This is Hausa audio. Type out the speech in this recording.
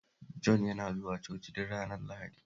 Jon yana zuwa Coci duk ranar Lahadi